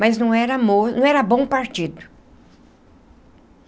Mas não era mo não era bom partido.